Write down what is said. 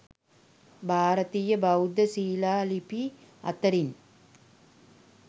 භාරතීය බෞද්ධ ශිලා ලිපි අතරින්